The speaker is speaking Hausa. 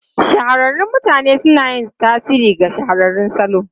Shahararrun mutane suna yin tasiri ga shahararrun salo.